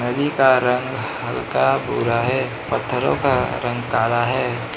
पानी का रंग हल्का भूरा है पथरों का रंग काला है।